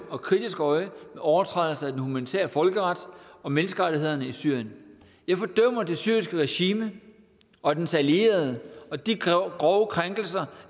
og kritisk øje med overtrædelser af den humanitære folkeret og menneskerettighederne i syrien jeg fordømmer det syriske regime og dets allierede og de grove krænkelser